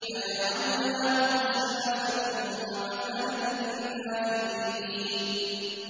فَجَعَلْنَاهُمْ سَلَفًا وَمَثَلًا لِّلْآخِرِينَ